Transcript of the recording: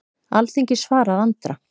Alþingi svarar Andra